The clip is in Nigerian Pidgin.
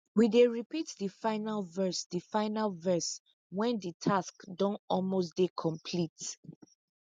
we dey repeat de final verse de final verse wen de task don almost dey complete